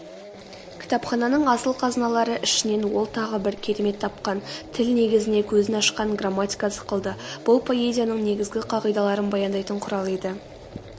кітапхананың асыл қазыналары ішінен ол тағы бір керемет тапқан тіл негізіне көзін ашқан грамматика сықылды бұл поэзияның негізгі қағидаларын баяндайтын құрал еді